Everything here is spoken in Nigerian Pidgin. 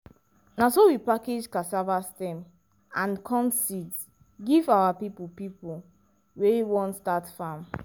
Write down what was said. na so we package cassava stem and corn seeds give our people people wey wan start farm.